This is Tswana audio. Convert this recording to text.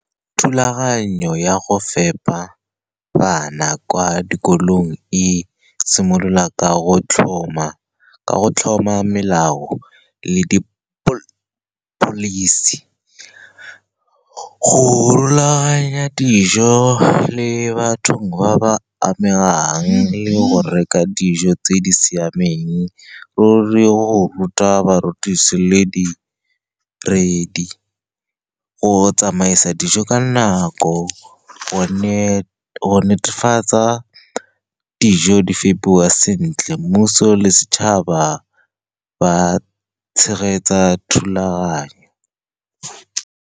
Thulaganyo ya go fepa bana kwa dikolong e simolola ka go tlhoma melao le di-policy, go rulaganya dijo le batho ba ba amegang, le go reka dijo tse di siameng, go le go ruta barutisi le di-brady, go tsamaisa dijo ka nako, go netefatsa dijo di fepiwa sentle. Mmuso le setšhaba ba tshegetsa thulaganyo.